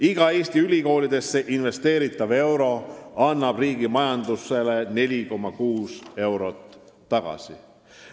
Iga Eesti ülikoolidesse investeeritav euro annab riigi majandusele 4,6 eurot tagasi.